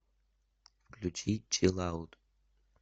включи чилаут